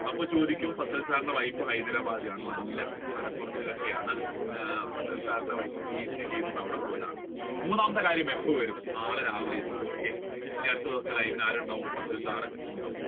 അപ്പോൾ ചോദിക്കും fasal sir wife Hyderabadi ആണോ എന്ന് അല്ല മലപ്പുറത്തുകാരിയാണ് fasal sir ന്റെ wife കൊണ്ട് അവിടെ പോയതാണ് മൂന്നാമത്തെ കാര്യം എപ്പോൾ വരും നാളെ രാവിലെ എത്തും okay ഇനി അടുത്ത ദിവസത്തിൽ fasal sir